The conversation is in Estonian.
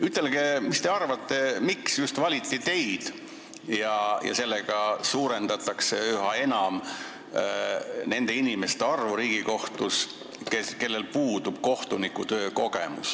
Ütelge, mis te arvate, miks valiti just teid, suurendades üha enam nende inimeste arvu Riigikohtus, kellel puudub kohtunikutöö kogemus.